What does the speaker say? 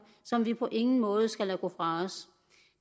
som vi på ingen måde skal lade gå fra os